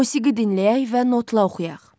Musiqi dinləyək və notla oxuyaq.